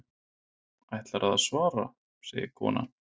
Ætlarðu að svara, segir konan.